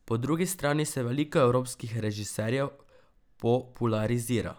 Po drugi strani se veliko evropskih režiserjev popularizira.